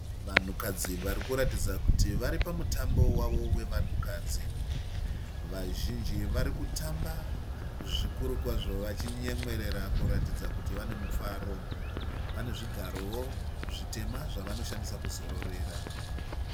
Vanhukadzi varikuratidza kuti vari pamutambo wavo wevanhukadzi. Vazhinji vavo vari kutamba zvikuru kwazvo vachinyemwerera kuratidza kuti vane mufaro. Pane zvigarowo zvitema zvanoshandisa kuzororera.